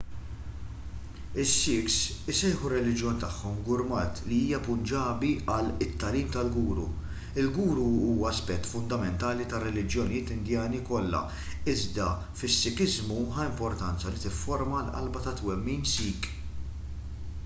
is-sikhs isejħu r-reliġjon tagħhom gurmat li hija punġabi għal it-tagħlim tal-guru il-guru huwa aspett fundamentali tar-reliġjonijiet indjani kollha iżda fis-sikiżmu ħa importanza li tifforma l-qalba tat-twemmin sikh